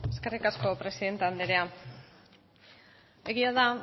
eskerrik asko presidente andrea egia da